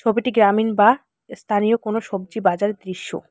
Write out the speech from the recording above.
ছবিটি গ্রামীণ বা স্থানীয় কোন সব্জী বাজারের দৃশ্য।